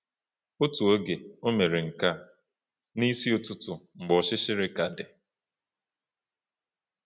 Otu oge, o mere nke a “n’isi ụtụtụ mgbe ọchịchịrị ka dị.”